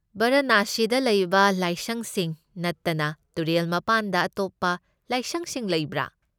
ꯕꯔꯥꯅꯁꯤꯗ ꯂꯩꯕ ꯂꯥꯏꯁꯪꯁꯤꯡ ꯅꯠꯇꯅ ꯇꯨꯔꯦꯜ ꯃꯄꯥꯟꯗ ꯑꯇꯣꯞꯄ ꯂꯥꯏꯁꯪꯁꯤꯡ ꯂꯩꯕ꯭ꯔꯥ?